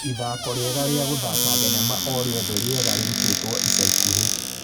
ithako riega rĩa gũthaaka thenema orĩothe rĩega rĩrũtĩtwo ica ikũhĩ